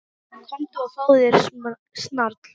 Komdu og fáðu þér snarl.